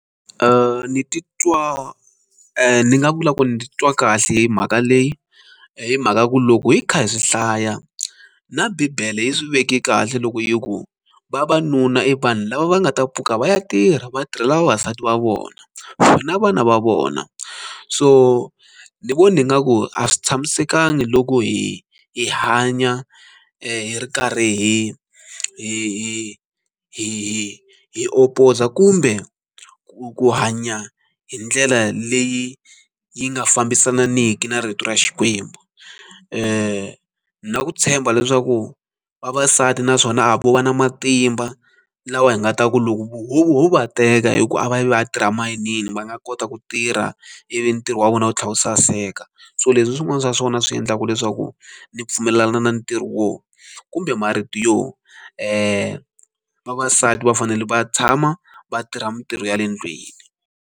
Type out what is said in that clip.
ni titwa ni nga vula ku ni titwa kahle hi mhaka leyi hi mhaka ku loko hi kha hi swi hlaya na bibele yi swi veke kahle loko hi ku vavanuna i vanhu lava va nga ta pfuka va ya tirha vatirhela vavasati va vona na vana va vona so ni vona hi nga ku a swi tshamisekanga loko hi hi hanya hi ri karhi hi hi hi hi opposer kumbe ku hanya hi ndlela leyi yi nga fambisaniki na rito ra xikwembu ni na ku tshemba leswaku vavasati naswona a vo va na matimba lawa hi nga ta ku loko voho va teka hi ku a va yi va a tirha mayinini va nga kota ku tirha ivi ntirho wa vona wu tlhela wu saseka so leswi swin'wana swa swona swi endlaka leswaku ni pfumelelana na ntirho wo kumbe marito yo vavasati va fanele va tshama vatirha mitirho ya le ndlwini.